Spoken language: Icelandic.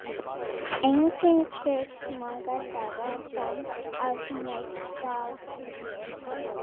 Angi, hversu margir dagar fram að næsta fríi?